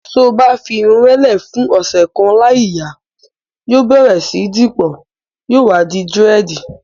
To bá fi irun rẹ lè fún ọ̀sẹ̀ kan láì yà, yóò bẹ̀rẹ̀ sí dípọ̀, yóò wá di dírẹ̀dì.